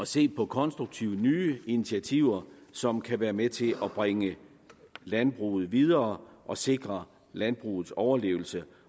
se på konstruktive nye initiativer som kan være med til at bringe landbruget videre og sikre landbrugets overlevelse